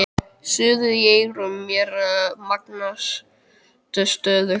Suðið í eyrum mér magnast stöðugt.